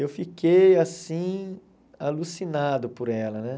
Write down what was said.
Eu fiquei, assim, alucinado por ela, né?